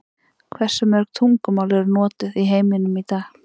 Hversu mörg tungumál eru notuð í heiminum í dag?